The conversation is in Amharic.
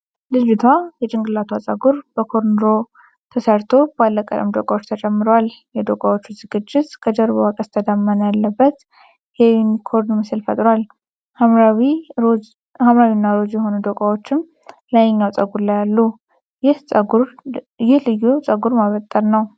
ልጅቷ የጭንቅላቷ ፀጉር በኮርንሮው ተሠርቶ ባለቀለም ዶቃዎች ተጨምረዋል። የዶቃዎቹ ዝግጅት ከጀርባዋ ቀስተ ደመና ያለበት የዩኒኮርን ምስል ፈጥሯል። ሐምራዊና ሮዝ የሆኑ ዶቃዎችም ላይኛው ፀጉር ላይ አሉ። ይህ ልዩ ፀጉር ማበጠር ነው።